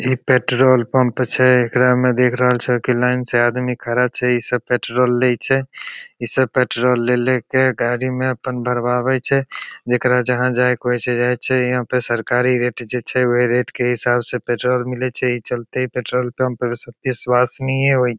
ई petrol pump छे एकरा में देख रहल छे की लाइन से आदमी खड़ा छे ई सब पेट्रोल लेई छे ई सब पेट्रोल ले-ले के गाड़ी में अपन भरवावे छे जेकरा जहाँ जाए के होवे छे जाए छे। यहाँ पे सरकारी रेट जो छे वही रेट के हिसाब से पेट्रोल मिलई छे एही चलते ई पेट्रोल पंप सबके विस्वसनीय होई।